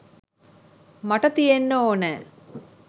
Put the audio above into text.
මට තියෙන්න ඕනෑ.